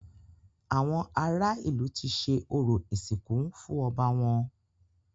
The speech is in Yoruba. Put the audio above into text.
Àwọn ará ìlú ti ṣe orò ìsìnkú fún ọba wọn.